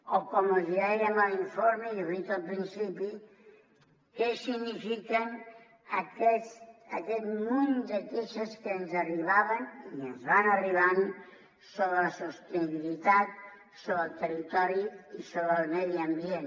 o com els dèiem a l’informe i ho he dit al principi què signifiquen aquest munt de queixes que ens arribaven i ens van arribant sobre la sostenibilitat sobre el territori i sobre el medi ambient